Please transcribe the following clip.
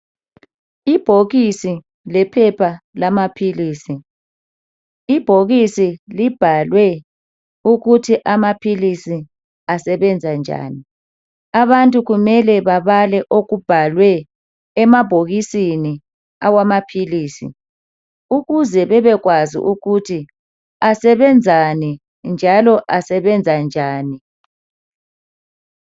Ibhokisi lephepha lamaphilisi. Ibhokisi libhalwe ukuthi amaphilisi asebenza njani. Abantu kumele bebale okubhalwe emabhokisini awamaphilisi ukuze babekwazi ukuthi asebenzani njalo asebenza njani.